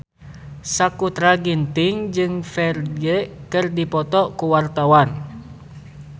Sakutra Ginting jeung Ferdge keur dipoto ku wartawan